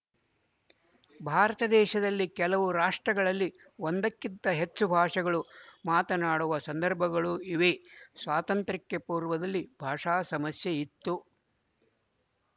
ಭಾರತದೇಶದಲ್ಲಿ ಕೆಲವು ರಾಷ್ಟ್ರಗಳಲ್ಲಿ ಒಂದಕ್ಕಿಂತ ಹೆಚ್ಚು ಭಾಷೆಗಳು ಮಾತನಾಡುವ ಸಂದರ್ಭಗಳು ಇವೆ ಸ್ವಾತಂತ್ರ್ಯಕ್ಕೆ ಪೂರ್ವದಲ್ಲಿ ಭಾಷಾ ಸಮಸ್ಯೆ ಇತ್ತು